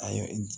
Ayi